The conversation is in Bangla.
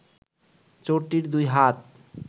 চোরটির দুই হাত